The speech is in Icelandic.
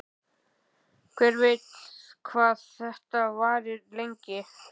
Hver veit hvað þetta varir lengi?